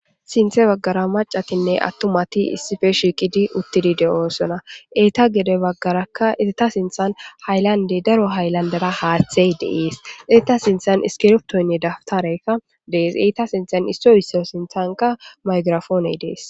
Sinthe bagara mac'atinne atumati issipe shiqid utid de'osona , eta gede bagara eta sinthan haylandey daro haylandera hathey de'es, eta sinthan iskrtoyka dawuterayka de'es.